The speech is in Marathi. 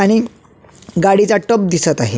आणि गाडीचा टप दिसत आहे.